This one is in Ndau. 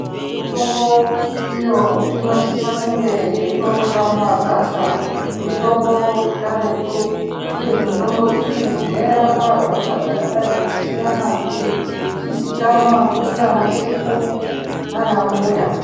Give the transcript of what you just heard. Mitombo iyo inosisa yeionekwa mumagwasha mitombo yekaretu uye mitombo iyi yairapa hosha dzakadai kusiyana ichizikanwa ndivana sekuru nana mbuya.